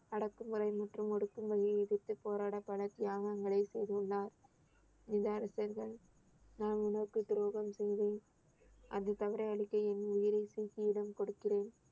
அடக்குமுறை மற்றும் ஒடுக்குமுறையை எதிர்த்துப் போராடப் பல தியாகங்களை செய்துள்ளார் நான் உனக்கு துரோகம் செய்தேன் அந்த தவறை அழிக்க என் உயிரை சீக்கியிடம் கொடுக்கிறேன்